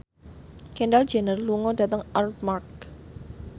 Kendall Jenner lunga dhateng Armargh